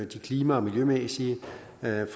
det klima og miljømæssige